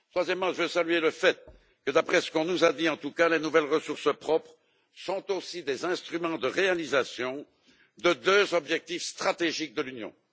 Enfin, je veux saluer le fait que d'après ce qu'on nous a dit, en tout cas, les nouvelles ressources propres sont aussi des instruments de réalisation de deux objectifs stratégiques de l'Union.